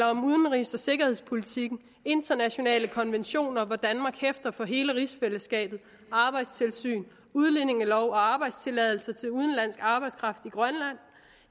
om udenrigs og sikkerhedspolitik internationale konventioner hvor danmark hæfter for hele rigsfællesskabet arbejdstilsyn udlændingelov og arbejdstilladelser til udenlandsk arbejdskraft i grønland